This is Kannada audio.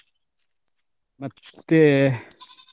ಮತ್ತೇ.